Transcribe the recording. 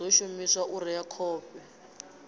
ḓo shumiswa u rea khovhe